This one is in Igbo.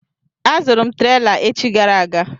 Azụrụ m trela echi gara aga.